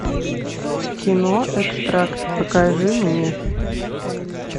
кино экстракт покажи мне